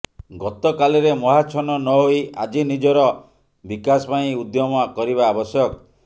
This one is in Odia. ଗତକାଲିରେ ମୋହାଚ୍ଛନ୍ନ ନ ହୋଇ ଆଜି ନିଜର ବିକାଶ ପାଇଁ ଉଦ୍ୟମ କରିବା ଆବଶ୍ୟକ